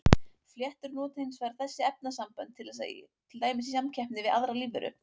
Fléttur nota hins vegar þessi efnasambönd til dæmis í samkeppninni við aðrar lífveru.